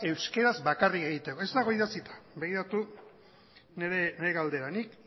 euskeraz bakarrik egiteko ez dago idatzita begiratu nire galdera nik